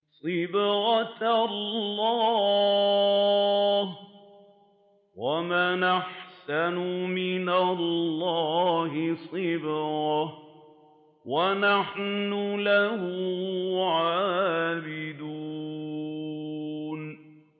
صِبْغَةَ اللَّهِ ۖ وَمَنْ أَحْسَنُ مِنَ اللَّهِ صِبْغَةً ۖ وَنَحْنُ لَهُ عَابِدُونَ